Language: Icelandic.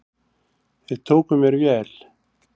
Þeir tóku mér vel.